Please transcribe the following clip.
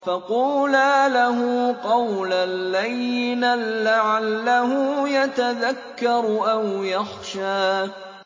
فَقُولَا لَهُ قَوْلًا لَّيِّنًا لَّعَلَّهُ يَتَذَكَّرُ أَوْ يَخْشَىٰ